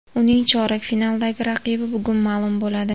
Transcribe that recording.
Uning chorak finaldagi raqibi bugun ma’lum bo‘ladi.